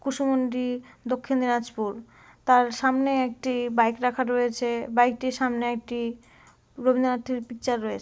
কুসুমুন্ডি দক্ষিন দিনাজপুর তার সামনে একটি বাইক রাখা রয়েছে বাইক টির সামনে একটি রবিন্দ্রনাথ ঠাউয়ের পিকচার রয়েছ--